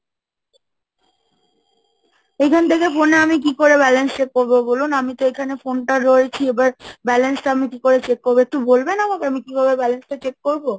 এইখান থেকে phone এ আমি কি করে Balance check করবো বলুন? আমি তো এখানে phone টা রয়েছি, এবার Balance টা আমি কি করে check করবো একটু বলবেন আমাকে? আমি কিভাবে Balance check করবো?